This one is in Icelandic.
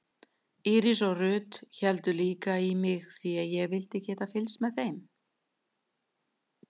Íris og Ruth héldu líka í mig því ég vildi geta fylgst með þeim.